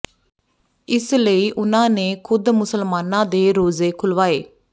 ਇਸ ਲਈ ਉਨ੍ਹਾਂ ਨੇ ਖੁਦ ਮੁਸਲਮਾਨਾਂ ਦੇ ਰੋਜ਼ੇ ਖੁੱਲ੍ਹਵਾਏ